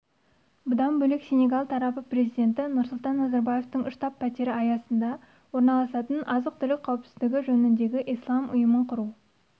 бұдан бөлек сенегал тарапы президенті нұрсұлтан назарбаевтың штаб-пәтері астанада орналасатын азық-түлік қауіпсіздігі жөніндегі ислам ұйымын құру